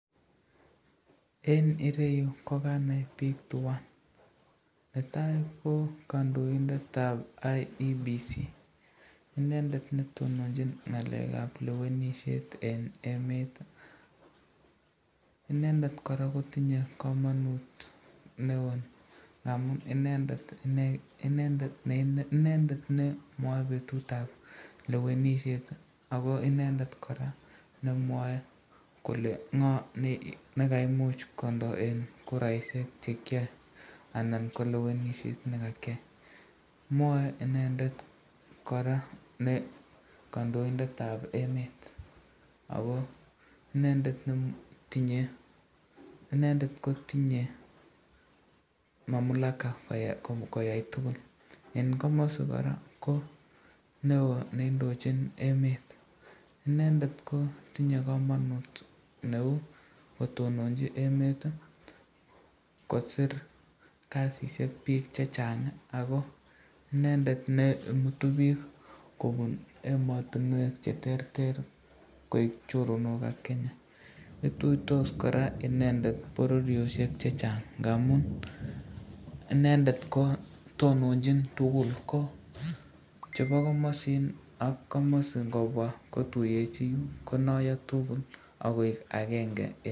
Eng ireyu ko kanai bik tuan, netai ko kandoindetab IEBC, inendet neindochin ngalekab lewenishet eng emet, inendet koraa kotinye kamanut neon ngamun inendet ne mwae betutab lewenishet ako inendet koraa nemwae kole ngo nekaimuch kondo eng kuraishek anan ko lewenishet nekakyai, mwae inendet koraa ne kandoindetab emet ,ako inendet ko tinye mamulaka koyai tukul, eng komasi koraa ko neo neindochin emet, inendet ko tinye kamanut neu kitononchi emet, kosir kasisyek bik chechang ako inendet ne mutu bik kobun ematinwek cheterter koek choronok ak Kenya, ituitos koraa inendet bororyoshek chechang ngamun inendet ko tononchin tukul ko chebo komasino ak komasi ngobwa kotuyechin konayo tukul akoek akenge.